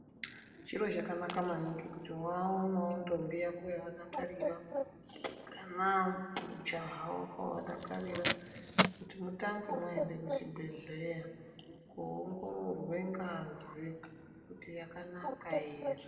Chiro chakanaka maningi kuti wawanawo ndombi yako yawadakarira kana mujaha wako wawa dakarira mutange maenda kuchibhedhlera koongorwa ngazi kuti yakanaka here.